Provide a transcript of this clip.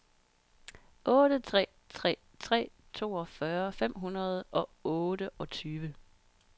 otte tre tre tre toogfyrre fem hundrede og otteogtyve